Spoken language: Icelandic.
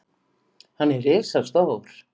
Hann er risastór.